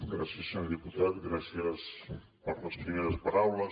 gràcies senyor diputat gràcies per les primeres paraules